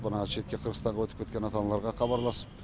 мына шетке қырғызстанға өтіп кеткен ата аналарға хабарласып